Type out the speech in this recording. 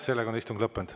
Sellega on istung lõppenud.